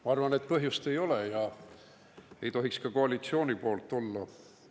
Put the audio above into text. Ma arvan, et põhjust ei ole ja seda ei tohiks ka koalitsioonil olla.